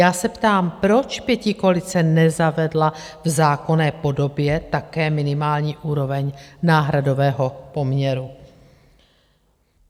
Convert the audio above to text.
Já se ptám, proč pětikoalice nezavedla v zákonné podobě také minimální úroveň náhradového poměru?